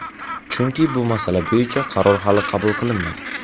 Chunki bu masala bo‘yicha qaror hali qabul qilinmagan.